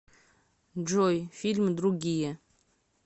джой фильм другие